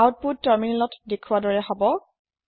আওত্পোত তাৰমিনেলতত দেখোৱাৰ দৰে হব